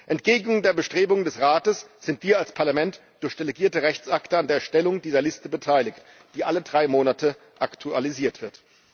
Entgegen den Bestrebungen des Rates sind wir als Parlament durch delegierte Rechtsakte an der Erstellung dieser Liste beteiligt, die alle drei Monate aktualisiert wird.